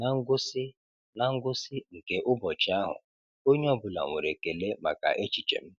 Ná ngwụsị Ná ngwụsị nke ụbọchị ahụ, onye ọ bụla nwere ekele maka echiche m.